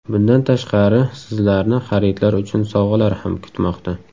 Bundan tashqari, sizlarni xaridlar uchun sovg‘alar ham kutmoqda.